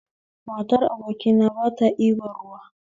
Matar abokina bata ɗiban ruwa